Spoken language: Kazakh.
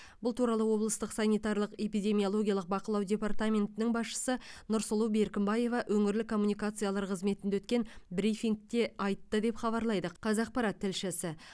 бұл туралы облыстық санитарлық эпидемиологиялық бақылау департаментінің басшысы нұрсұлу беркімбаева өңірлік коммуникациялар қызметінде өткен брифингте айтты деп хабарлайды қазақпарат тілшісі